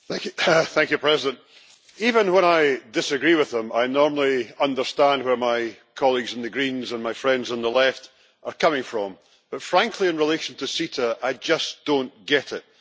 Madam President, even when I disagree with them, I normally understand where my colleagues in the Greens and my friends on the left are coming from, but frankly in relation to CETA I just do not get it.